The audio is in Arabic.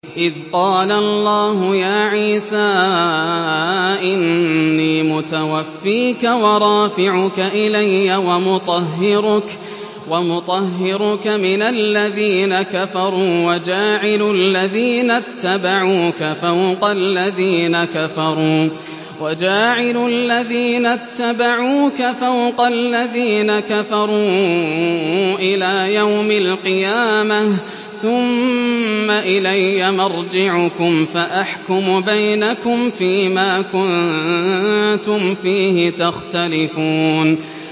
إِذْ قَالَ اللَّهُ يَا عِيسَىٰ إِنِّي مُتَوَفِّيكَ وَرَافِعُكَ إِلَيَّ وَمُطَهِّرُكَ مِنَ الَّذِينَ كَفَرُوا وَجَاعِلُ الَّذِينَ اتَّبَعُوكَ فَوْقَ الَّذِينَ كَفَرُوا إِلَىٰ يَوْمِ الْقِيَامَةِ ۖ ثُمَّ إِلَيَّ مَرْجِعُكُمْ فَأَحْكُمُ بَيْنَكُمْ فِيمَا كُنتُمْ فِيهِ تَخْتَلِفُونَ